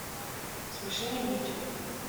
смешные видео